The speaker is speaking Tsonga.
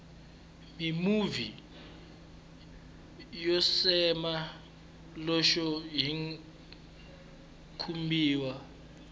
mimovha yo cema loxo yi khumbiwa